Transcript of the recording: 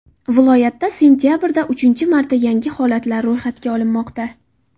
Viloyatda sentabrda uchinchi marta yangi holatlar ro‘yxatga olinmoqda.